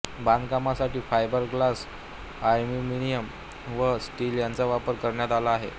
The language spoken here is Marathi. बांधकामासाठी फायबर ग्लास एल्युमिनियम व स्टील यांचा वापर करण्यात आला आहे